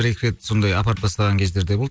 бір екі рет сондай апарып тастаған кездер де болды